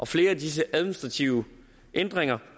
flere af disse administrative ændringer